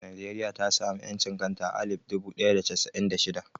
Nijeriya ta sami ƴancin kanta a alif dubu ɗaya da casa'in da shida